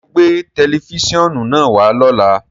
Ṣẹ́ o gbẹ̀ tẹlifísiọ́nù naá wà lọ́lá?